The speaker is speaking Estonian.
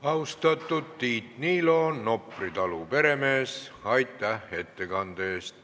Austatud Nopri talu peremees Tiit Niilo, aitäh ettekande eest!